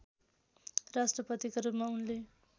राष्ट्रपतिका रूपमा उनले